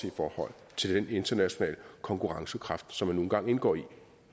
i forhold til den internationale konkurrencekraft som man nu engang indgår i